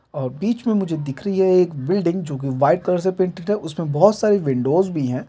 और बीच में दिख रही है एक बिल्डिंग जो की वाइट कलर से पेंटेड है उसमे बहुत सारी विंडोज़ भी है।